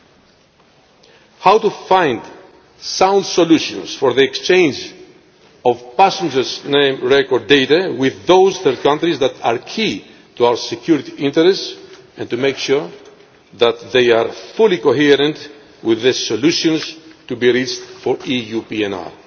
We need to find sound solutions for the exchange of passenger record data with those third countries that are key to our security interests and to make sure that they are fully consistent with the solutions to be reached for